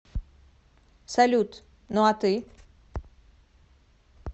салют ну а ты